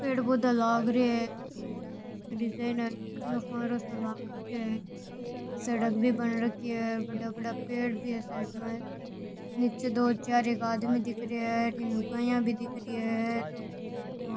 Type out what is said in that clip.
पेड़ पौधा लाग रे है सड़क भी बन रखि है बड़ा बड़ा पेड़ भी है साइड में निचे दो चार एक आदमी भी दिख रेहा है अठीन लुगाईया भी दिख री है और --